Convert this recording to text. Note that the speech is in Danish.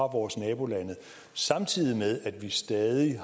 vores nabolande samtidig med at vi stadig